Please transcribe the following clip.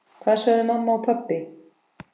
Hvað sögðu mamma og pabbi?